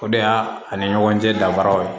O de y'a ani ɲɔgɔn cɛ danfaraw ye